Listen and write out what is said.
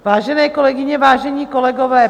Vážené kolegyně, vážení kolegové.